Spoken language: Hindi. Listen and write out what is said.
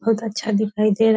बहुत अच्छा दिखाई दे रा --